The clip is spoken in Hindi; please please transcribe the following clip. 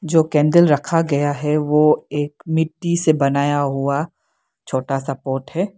जो कैंडल रखा गया है वो एक मिट्टी से बनाया हुआ छोटा सा पॉट है।